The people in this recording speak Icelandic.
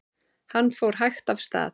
Hann fór hægt af stað.